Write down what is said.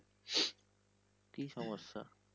কি সমস্যা?